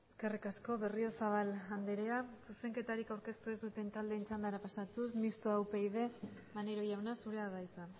eskerrik asko berriozabal andrea zuzenketarik aurkeztu ez duten taldeen txandara pasatuz mistoa upyd maneiro jauna zurea da hitza